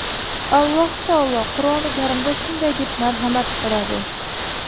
Alloh taolo Qur’oni karimda shunday deb marhamat qiladi:.